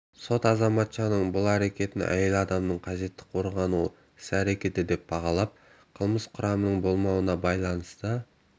сот азаматша к-нің бұл әрекетін әйел адамның қажетті қорғану іс-әрекеті деп бағалап қылмыс құрамының болмауына байланысты